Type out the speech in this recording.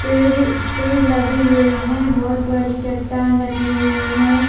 पेड़ - पेड़ लगे हुए है बहुत बड़ी चट्टान रखी हुई है।